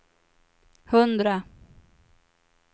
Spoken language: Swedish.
hundra